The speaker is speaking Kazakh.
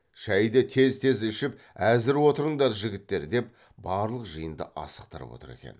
шайды тез тез ішіп әзір отырыңдар жігіттер деп барлық жиынды асықтырып отыр екен